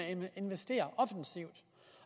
investerer offensivt